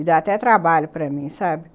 E dá até trabalho para mim, sabe?